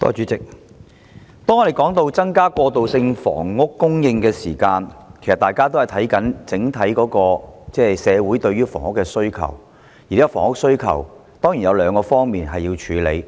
主席，當我們說到增加過渡性房屋供應時，其實大家也是要檢視整體社會對房屋的需求，而目前房屋需求上當然有兩方面需要處理。